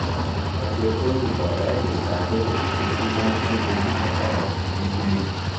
agbẹjọ́rò baba ìjẹsà bẹbẹ̀ pé kí wọ́n fún oníbàárà òun ní bẹ́ẹ̀lì